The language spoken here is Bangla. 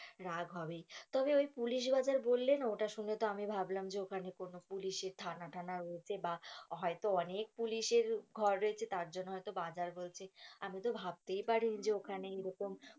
রাগ হবেই তবে ওই পুলিশ বাজার বললে না ওটা শুনে তো আমি ভাবলাম যে ওখানে কোনো পুলিশের থানা টানা রয়েছে বা হয়তো অনেক পুলিশের ঘর রয়েছে তার জন্য হয়তো বাজার বল আমি তো ভাবতেই পারি নি যে ওখানে এরকম,